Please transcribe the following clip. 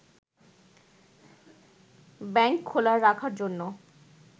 bank খোলা রাখার জন্য